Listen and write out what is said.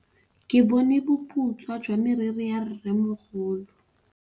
Ke bone boputswa jwa meriri ya rrêmogolo.